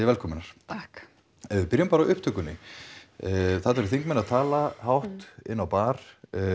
velkomnar takk ef við byrjum bara á upptökunni þarna eru þingmenn að tala hátt á bar